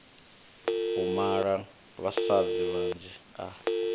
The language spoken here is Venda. u mala vhasadzi vhanzhi a